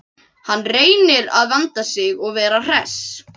Hann reynir að vanda sig og vera hress.